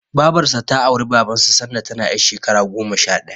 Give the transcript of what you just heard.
Babarsa ta auri Babansa sanda tana ƴar shekara goma sha ɗaya.